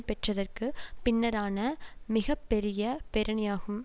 பெற்றதற்கு பின்னரான மிக பெரிய பேரணியாகும்